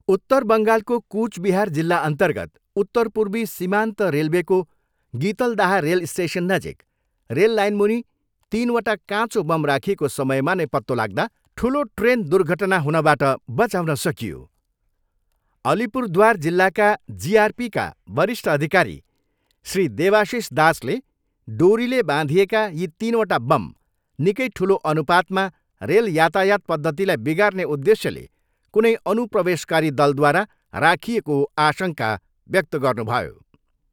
उत्तर बङ्गालको कुचबिहार जिल्लाअन्तर्गत उत्तरपूर्वी सीमान्त रेलवेको गितलदाह रेल स्टेसननजिक रेल लाइनमुनि तिनवटा काँचो बम राखिएको समयमा नै पत्तो लाग्दा ठुलो ट्रेन दुर्घटना हुनबाट बचाउन सकियो। अलिपुरद्वार जिल्लाका जिआरपीका वरिष्ठ अधिकारी श्री देवाशिष दासले डोरीले बाँधिएका यी तिनवटा बम निकै ठुलो अनुपातमा रेल यातायात पद्धतिलाई बिगार्ने उद्देश्यले कुनै अनुप्रवेशकारी दलद्वारा राखिएको आशङ्का व्यक्त गर्नुभयो।